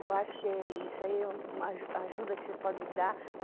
Eu acho que isso aí é uma aju ajuda que você pode dar.